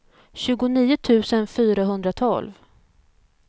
tjugonio tusen fyrahundratolv